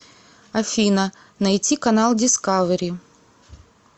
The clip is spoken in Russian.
афина найти канал дискавери